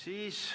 Ei ole.